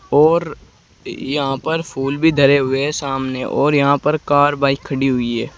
और य् यहाँ पर फूल भी धरे हुए हैं सामने और यहाँ पर कार बाइक खड़ी हुई है।